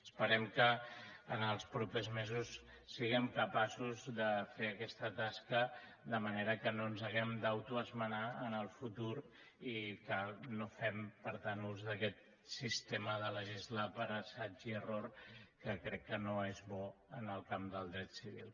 esperem que els propers mesos siguem capaços de fer aquesta tasca de manera que no ens hàgim d’autoesmenar en el futur i que no fem per tant ús d’aquest sistema de legislar per assaig i error que crec que no és bo en el camp del dret civil